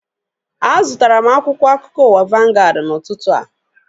A zụtara m akwụkwọ akụkọ ụwa vangaad n'ụtụtụ a